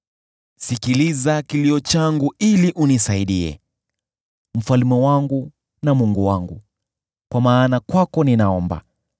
Sikiliza kilio changu ili unisaidie, Mfalme wangu na Mungu wangu, kwa maana kwako ninaomba.